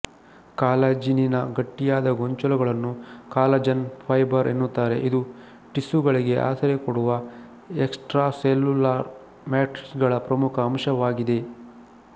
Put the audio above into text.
ಕಾಲಜಿನಿನ ಗಟ್ಟಿಯಾದ ಗೊಂಚಲುಗಳನ್ನು collagen fibre ಎನ್ನುತ್ತಾರೆ ಇದು ಟಿಸ್ಯುಗಳಿಗೆ ಆಸರೆ ಕೊಡುವ ಎಕ್ಸಟ್ರಾಸೆಲುಲಾರ್ ಮ್ಯಾಟ್ರಿಕ್ಸ್ ಗಳ ಪ್ರಮುಖ ಅಂಶವಾಗಿದೆ